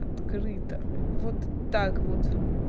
открыто вот так вот